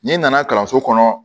N'i nana kalanso kɔnɔ